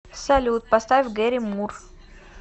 салют поставь гэри мур